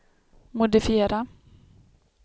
modifiera